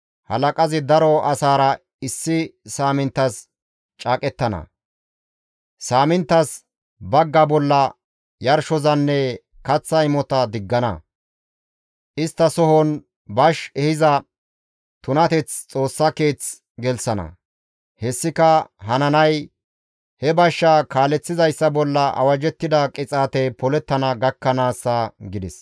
Halaqazi daro asaara issi saaminttas caaqettana; saaminttaas bagga bolla yarshozanne kaththa imota diggana; isttasohon bash ehiza tunateth Xoossa Keeth gelththana; hessika hananay he bashsha kaaleththizayssa bolla awajjettida qixaatey polettana gakkanaassa» gides.